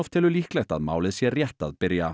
telur líklegt að málið sé rétt að byrja